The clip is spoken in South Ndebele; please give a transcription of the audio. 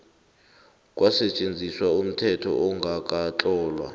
kwasetjenziswa umthetho ongakatlolwa